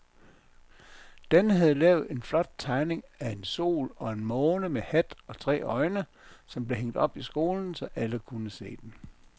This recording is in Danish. Dan havde lavet en flot tegning af en sol og en måne med hat og tre øjne, som blev hængt op i skolen, så alle kunne se den.